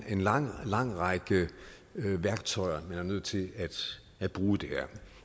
er en lang lang række værktøjer man er nødt til at bruge her